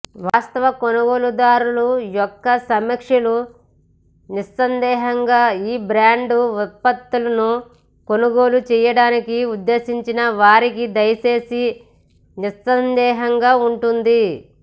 వాస్తవ కొనుగోలుదారులు యొక్క సమీక్షలు నిస్సందేహంగా ఈ బ్రాండ్ ఉత్పత్తులను కొనుగోలు చేయడానికి ఉద్దేశించిన వారికి దయచేసి నిస్సందేహంగా ఉంటుంది